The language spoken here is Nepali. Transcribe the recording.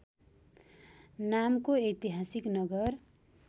नामको ऐतिहासिक नगर